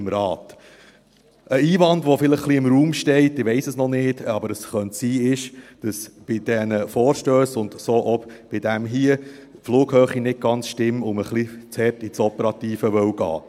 Ein Einwand, der vielleicht ein wenig im Raum steht – ich weiss es noch nicht, aber es könnte sein –, ist, dass bei diesen Vorstössen, und damit auch bei dem hier, die Flughöhe nicht ganz stimmt und man etwas zu hart ins Operative gehen wolle.